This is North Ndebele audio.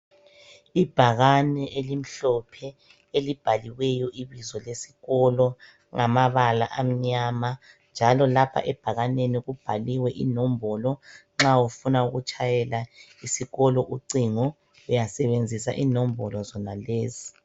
Ibhakane elimhlophe elibhaliweyo ibizo lesikolo ngamabala amnyama njalo lapha ebhakaneni kubhaliwe inombolo nxa ufuna ukutshayela esikolo ucingo uyasebenzisa inombolo zonalezi.